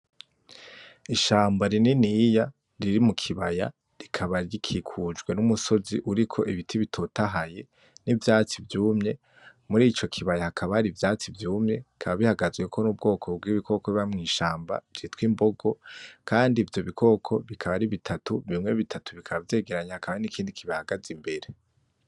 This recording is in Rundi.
Ishamba rininiya riri mu kibaya rikaba rikikujwe numusozi uriko ibiti bitotahaye nivyatsi vyumye murico hakaba hari ivyatsi vyumye bikaba bihagazweko nubwoko bwibikoko biba mwishamba vyitwa imbogo kandi ivyo bikoko bikaba ari bitatu bimwe bitatu bikaba vyegeranye hakaba hari nikindi kibihagaze imbere.